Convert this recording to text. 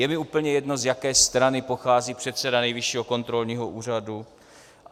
Je mi úplně jedno, z jaké strany pochází předseda Nejvyššího kontrolního úřadu.